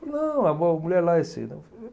Não, a a mulher lá